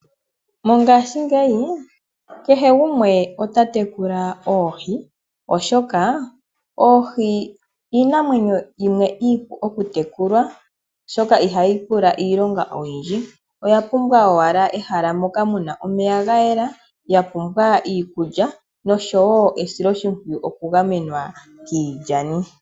Mongashi ngeyi kehe gumwe ota tekula oohi oshoka oohi iinamwenyo yimwe iipu oku tekulwa, oshoka ihayi pula iilonga oyindji. Oya pumbwa owala ehala moka muna omeya ga yela, ya pumbwa iikulya noshowo esiloshipwiyu oku gamenwa kiilyani.